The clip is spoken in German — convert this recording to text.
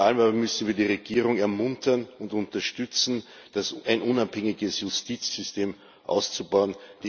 Vor allem aber müssen wir die Regierung ermuntern und darin unterstützen, ein unabhängiges Justizsystem auszubauen.